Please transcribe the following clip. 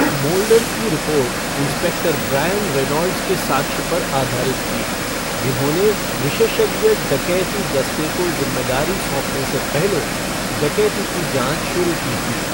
Moulder की report inspector Brian Reynolds के साक्ष्य पर आधारित थी, जिन्होंने विशेषज्ञ डकैती दस्ते को जिम्मेदारी सौंपने से पहले डकैती की जाँच शुरू की थी।